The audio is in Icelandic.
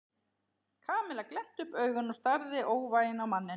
Kamilla glennti upp augun og starði óvægin á manninn.